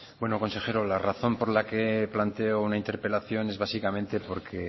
bueno consejero la razón por la que planteo una interpelación es básicamente porque